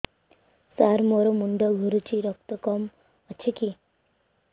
ସାର ମୋର ମୁଣ୍ଡ ଘୁରୁଛି ରକ୍ତ କମ ଅଛି କି